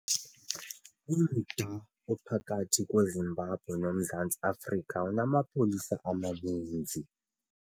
Umda ophakathi kweZimbabwe noMzantsi Afrika unamapolisa amaninzi.